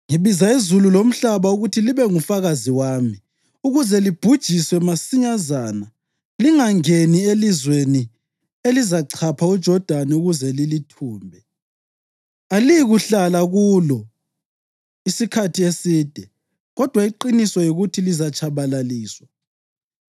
ngibiza izulu lomhlaba ukuthi libe ngufakazi wami ukuze libhujiswe masinyazana lingangeni elizweni elizachapha uJodani ukuze lilithumbe. Aliyikuhlala kulo isikhathi eside kodwa iqiniso yikuthi lizatshabalaliswa.